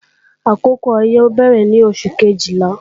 Àkókò ọyẹ́ ó bẹ̀rẹ̀ ní oṣù Kejìlá